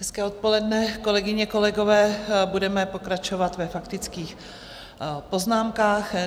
Hezké odpoledne, kolegyně, kolegové, budeme pokračovat ve faktických poznámkách.